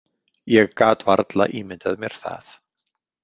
Ég gat varla ímyndað mér það.